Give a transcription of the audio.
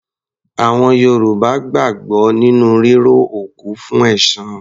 Àwọn Yorùbá gbàgbọ́ nínú ríró òkú fún ẹ̀san.